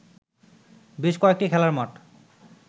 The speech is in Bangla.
বেশ কয়েকটি খেলার মাঠ